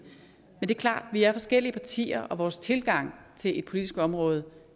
men det er klart at vi er forskellige partier og vores tilgange til et politisk område